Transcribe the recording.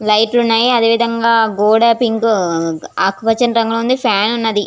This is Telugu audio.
లైట్ ఉనే అది విధము గ గోడ అండ్ అకుపచని కలర్ లొ ఉనాది ఫ్యాన్ ఉనాది.